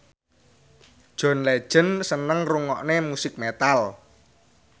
John Legend seneng ngrungokne musik metal